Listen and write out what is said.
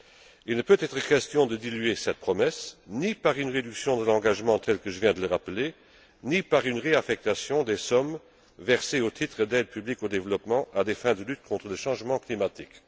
Il ne peut être question de diluer cette promesse, ni par une réduction de l'engagement tel que je viens de le rappeler, ni par une réaffectation des sommes versées au titre d'aide publique au développement à des fins de lutte contre le changement climatique.